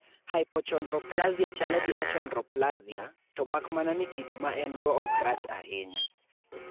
Hypochondroplasia chalo gi achondroplasia, to mak mana ni kido ma en-go ok rach ahinya.